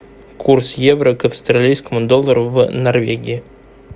курс евро к австралийскому доллару в норвегии